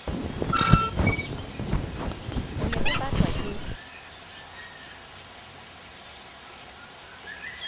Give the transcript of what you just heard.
o ne o batlwa ke